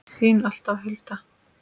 Þín alltaf, Hulda.